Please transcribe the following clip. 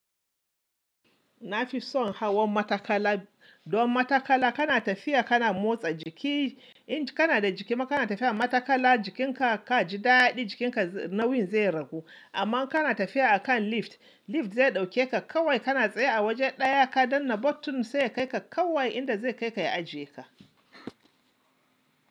Na fi son hawan matakala. Don matakala kana tafiya kana motsa jiki. In kana da jiki maka kana tafiya matakala jikinka ka ji daɗi jikinka nauyin zai ragu. Amma kana tafiya a kan lift, lift zai ɗauke ka kawai kana tsaye a wajen ɗaya ka danna button sai ya kai ka kawai inda zai kai ka ya ajiye ka.